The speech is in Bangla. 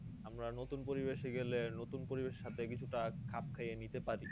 আমরা নতুন পরিবেশ এ গেলে নতুন পরিবেশ এর সাথে কিছুটা খাপ খাইয়ে নিতে পারি